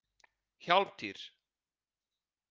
Hjálmtýr